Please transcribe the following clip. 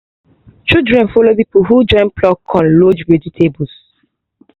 children follow for people who join pluck con load vegetables